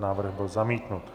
Návrh byl zamítnut.